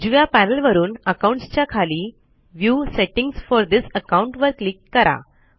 उजव्या पॅनल वरून अकाउंट्स च्या खाली view settings for this account वर क्लिक करा